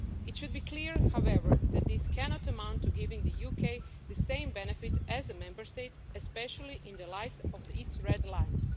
It should be clear, however, that this cannot amount to giving the UK the same benefit as a Member State, especially in the light of its red lines.